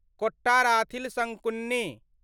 Kottarathil Sankunni